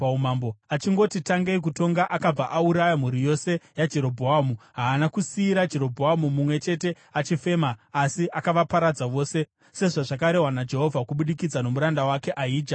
Achingoti tangei kutonga, akabva auraya mhuri yose yaJerobhoamu. Haana kusiyira Jerobhoamu mumwe chete achifema, asi akavaparadza vose sezvazvakarehwa naJehovha kubudikidza nomuranda wake Ahija muShiro,